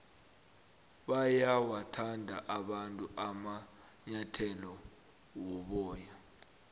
bayawathanda abantu amanyathele woboya